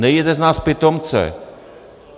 Nedělejte z nás pitomce.